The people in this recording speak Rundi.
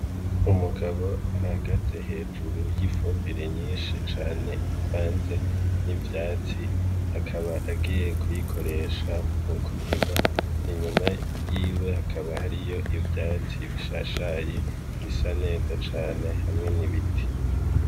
Umugabo ahagaze hejuru y'ifumbire nyinshi cane ivanze n'ivyatsi, akaba agiye kuyikoresha m'ukurima. Inyuma yiwe hakaba hariyo ivyatsi bishashaye bisa neza Cane hamwe n'ibiti.